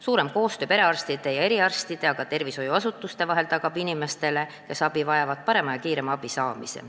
Suurem koostöö perearstide ja eriarstide ning ka tervishoiuasutuste vahel tagab inimestele, kes abi vajavad, parema ja kiirema abi.